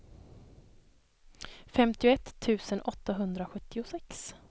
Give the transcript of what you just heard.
femtioett tusen åttahundrasjuttiosex